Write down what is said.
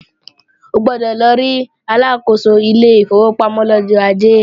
O gbọ́dọ̀ lọ rí Aláàkóso ilé ìfowópamọ́ lọ́jọ́ Ajé!